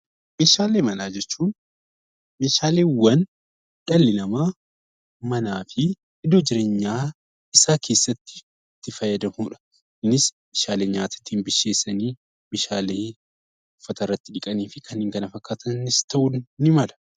Meeshaalee manaa jechuun meeshaaleewwan dhalli namaa manaa fi iddoo jireenya isaa keessatti itti fayyadamanidha. Kunis meeshaalee nyaata ittiin qopheessan, meeshaalee uffata irratti dhiqanii fi kan kana fakkaatan ta'uus ni danda'u.